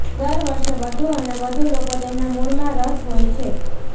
દર વર્ષે વધુ અને વધુ લોકો તેમના મૂળમાં રસ હોય છે